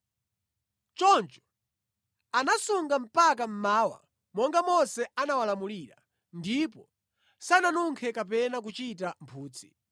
Choncho anasunga mpaka mmawa monga Mose anawalamulira, ndipo sananunkhe kapena kuchita mphutsi.